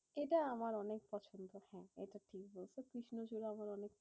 এটা আমার অনেক পছন্দের ফুল, এটা ঠিক বলছো। কৃষ্ণচূড়া আমার অনেক